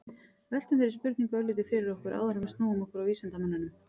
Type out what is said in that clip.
veltum þeirri spurningu örlítið fyrir okkur áður en við snúum okkur að vísindamönnunum